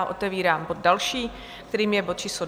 A otevírám bod další, kterým je bod číslo